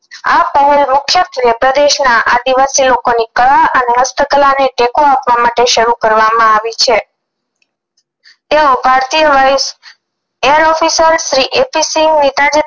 આ પ્રવણ મુખ્યત્વે પ્રદેશ ના આદિવાસી લોકો ની કળા અને હસ્તકળા ને ટેકો આપવા માટે શરૂ કરવામાં આવી છે તેઑ ભારતીય વાયુ air officer Shri A P Singh